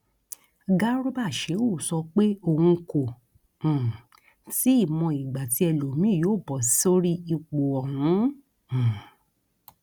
garba shehu sọ pé òun kò um tí ì mọ ìgbà tí ẹlòmíín yóò bọ sórí ipò ọhún um